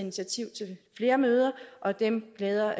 flere møder og dem glæder